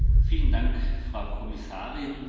Vielen Dank, Frau Kommissarin!